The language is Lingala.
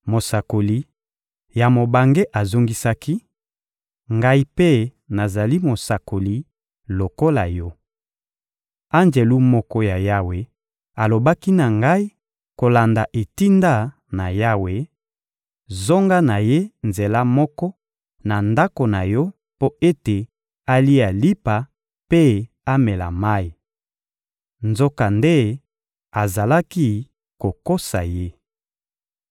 Mosakoli ya mobange azongisaki: — Ngai mpe nazali mosakoli lokola yo. Anjelu moko ya Yawe alobaki na ngai kolanda etinda na Yawe: «Zonga na ye nzela moko na ndako na yo mpo ete alia lipa mpe amela mayi.» Nzokande azalaki kokosa ye.